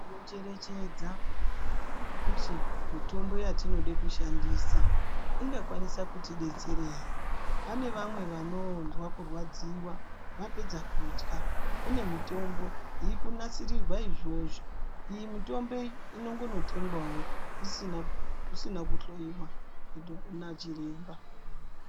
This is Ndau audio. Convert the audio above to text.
Tinocherechedza kuti mitombo yatinode kushandisa ingakwanisa kutidetsera here. Pane vamwe vanonzva kurwadziwa vapedza kudya. Kune mitombo yikunasirirwa izvozvo. Iyi mitombo iyi inongonotengwawo kusina kuhloyiwa nachiremba.